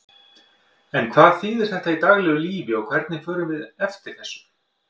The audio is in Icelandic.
En hvað þýðir þetta í daglegu lífi og hvernig förum við eftir þessu?